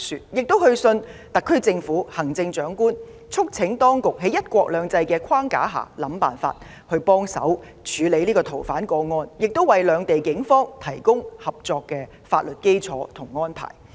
我們同時去信特區政府及行政長官，促請當局在"一國兩制"框架下設法處理這宗逃犯個案，並為兩地警方提供合作的法律基礎和安排。